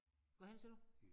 Hvad heddet det siger du?